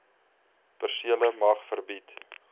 persele mag verbied